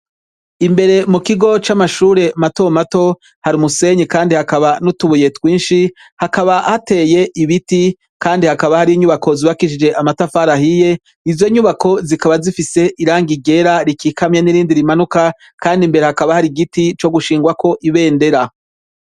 Imbere mu kigo c'amashure matomato hari umusenyi, kandi hakaba n'utubuye twinshi hakaba hateye ibiti, kandi hakaba hari inyubako zibakishije amatafarahiye ivyo nyubako zikaba zifise iranga igera rikikamya n'irindi rimanuka, kandi imbere hakaba hari igiti co gushingwako ibendera.